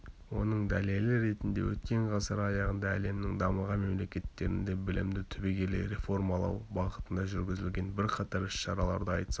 оның дәлелі ретінде өткен ғасыр аяғында әлемнің дамыған мемлекеттерінде білімді түбегейлі реформалау бағытында жүргізілген бірқатар іс-шараларды айтсақ